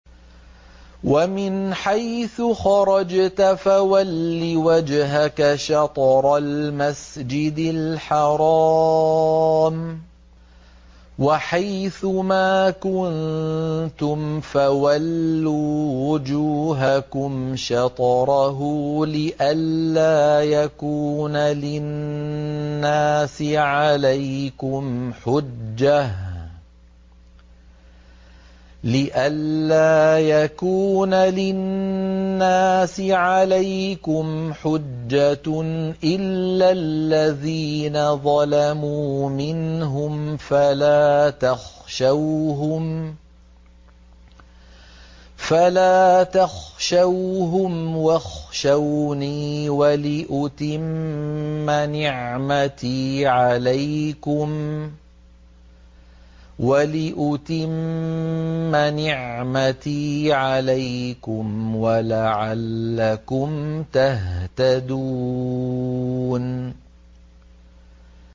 وَمِنْ حَيْثُ خَرَجْتَ فَوَلِّ وَجْهَكَ شَطْرَ الْمَسْجِدِ الْحَرَامِ ۚ وَحَيْثُ مَا كُنتُمْ فَوَلُّوا وُجُوهَكُمْ شَطْرَهُ لِئَلَّا يَكُونَ لِلنَّاسِ عَلَيْكُمْ حُجَّةٌ إِلَّا الَّذِينَ ظَلَمُوا مِنْهُمْ فَلَا تَخْشَوْهُمْ وَاخْشَوْنِي وَلِأُتِمَّ نِعْمَتِي عَلَيْكُمْ وَلَعَلَّكُمْ تَهْتَدُونَ